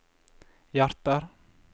hjerter